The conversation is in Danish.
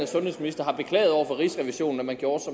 sundhedsminister har beklaget over for rigsrevisionen at man gjorde